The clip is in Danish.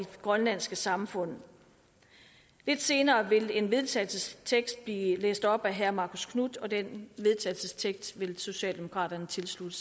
grønlandske samfund lidt senere vil en vedtagelsestekst blive læst op af herre marcus knuth og den vedtagelsestekst vil socialdemokraterne tilslutte